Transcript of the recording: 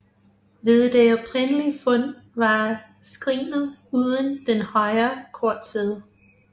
Ved det oprindelige fund var skrinet uden den højre kortside